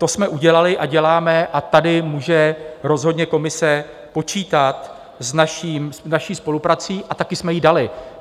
To jsme udělali a děláme a tady může rozhodně komise počítat s naší spoluprací a také jsme ji dali.